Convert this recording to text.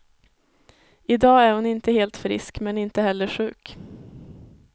I dag är hon inte helt frisk, men inte heller sjuk.